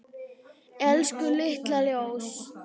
Elsku litla ljós.